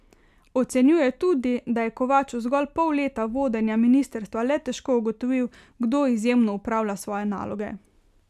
Ocenjuje tudi, da je Kovač v zgolj pol leta vodenja ministrstva le težko ugotovil, kdo izjemno opravlja svoje naloge.